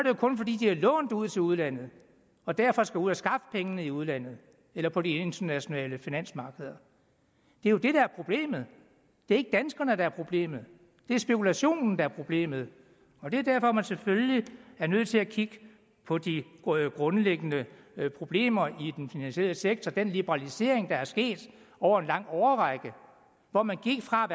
jo kun fordi de har lånt ud til udlandet og derfor skal ud at skaffe pengene i udlandet eller på de internationale finansmarkeder det er jo det der er problemet det er ikke danskerne der er problemet det er spekulationen der er problemet og det er derfor man selvfølgelig er nødt til at kigge på de grundlæggende problemer i den finansielle sektor den liberalisering der er sket over en lang årrække hvor man gik fra